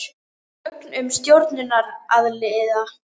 Gögn um stjórnunaraðila.